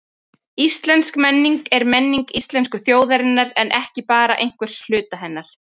Íslensk menning er menning íslensku þjóðarinnar en ekki bara einhvers hluta hennar.